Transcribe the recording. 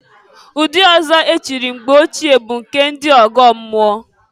Ụdị ọzọ echiri mgbe ochie bụ nke ndị ọgọmmụọ.